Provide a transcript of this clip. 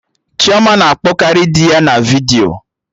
Chioma na-akpọ karị dị ya na vidiyo